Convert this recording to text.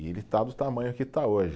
E ele está do tamanho que está hoje.